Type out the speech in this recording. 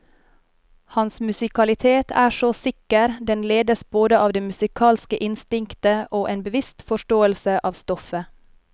Hans musikalitet er så sikker, den ledes både av det musikalske instinktet og en bevisst forståelse av stoffet.